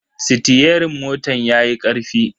Sitiyerin motan yayi karfi.